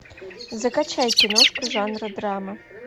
закачай киношку жанра драма